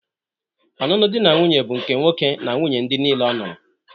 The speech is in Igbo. Ọnụnụ di na nwunye bụ nke nwoke na nwunnye ndị nile ọ nụrụ.